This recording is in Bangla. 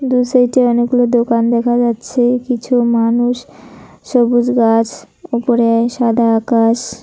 দুসাইডে অনেকগুলো দোকান দেখা যাচ্ছে কিছু মানুষ সবুজ গাছ উপড়ে সাদা আকাশ।